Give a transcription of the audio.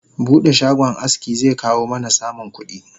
Bude shagon aski zekawo mana samun kudi